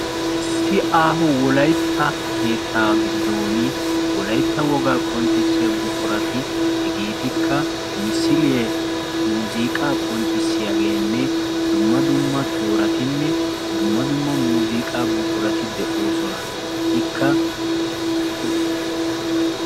Issi aaho wolaytta keetta giddon wolaytta woga qonccissiya buqurati hegetikka misile, muuziqa qonccissiyageenne dumma dumma tooratinne dumma dumma muuziqa buqurati de'osona.